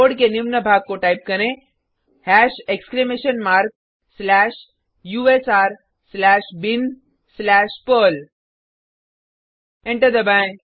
code के निम्न भाग को टाइप करें hash exclamation mark slash u s r slash bin slash perl enter दबाएँ